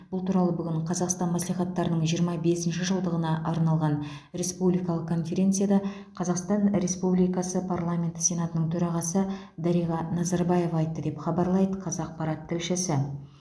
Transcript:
бұл туралы бүгін қазақстан мәслихаттарының жиырма бесінші жылдығына арналған республикалық конференцияда қазақстан республикасы парламенті сенатының төрағасы дариға назарбаева айтты деп хабарлайды қазақпарат тілшісі